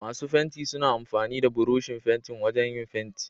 Masu fenti suna amfani da Burushin fentin wajan yin fenti.